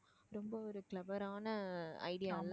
ரொம்ப ஒரு clever ஆன idea